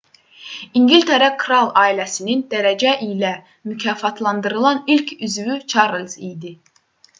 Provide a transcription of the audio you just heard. i̇ngiltərə kral ailəsinin dərəcə ilə mükafatlandırılan ilk üzvü çarlz idi